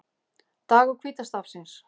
Dagur hvíta stafsins